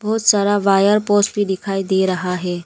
बहुत wire post भी दिखाई दे रहा है।